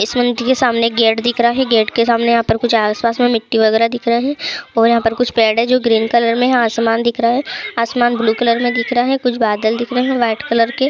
इस मंदिर के सामने एक गेट दिख रहा है। गेट के सामने यहाँ पर कुछ आस-पास मिट्टी वगैरह दिख रहा है और यहाँ पर कुछ पेड़ है जो ग्रीन कलर में है आसमान दिख रहा है। आसमान ब्लू कलर मे दिख रहा है कुछ बादल दिख रहा है व्हाइट कलर के।